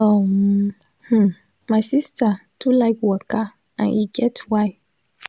um hm my sista too like waka and e get why.